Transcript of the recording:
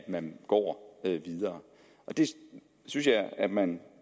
man går videre det synes jeg at man